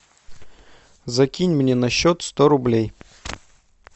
закинь мне на счет сто рублей